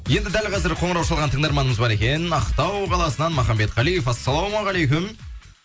енді дәл қазір қоңырау шалған тыңдарманымыз бар екен ақтау қаласынан махамбет қалиев ассалаумағалейкум